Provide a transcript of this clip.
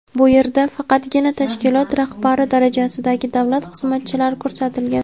bu yerda faqatgina tashkilot rahbari darajasidagi davlat xizmatchilari ko‘rsatilgan.